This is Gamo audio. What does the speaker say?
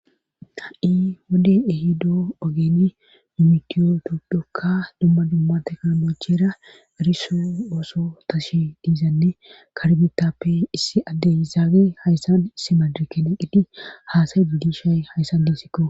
Ha,i wode ehido ogeeni mimitiyo dodhokka dumma dumma teknoolochera eriso ooso tashi diizanne karbitappe issi addeyizaage hayssan issi madirkeneqqidi haasayy didishay hayssan deesikko